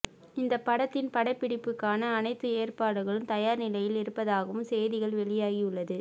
இந்த படத்தின் படப்பிடிப்புக்கான அனைத்து ஏற்பாடுகளும் தயார் நிலையில் இருப்பதாகவும் செய்திகள் வெளியாகி உள்ளது